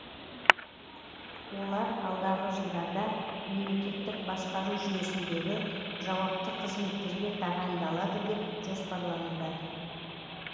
олар алдағы жылдарда мемлекеттік басқару жүйесіндегі жауапты қызметтерге тағайындалады деп жоспарлануда